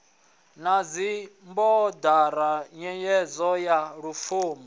na dzibodara nyengedzo ya lupfumo